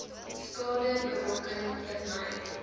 skade berokken vermy